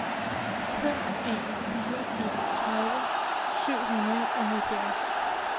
fem en fire en tredive syv hundrede og halvfjerds